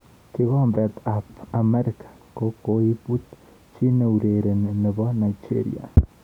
Kikombet ab emet ab Afrika kokoibut chi neurereni nebo Nigeria.